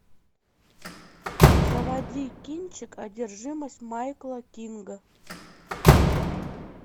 заводи кинчик одержимость майкла кинга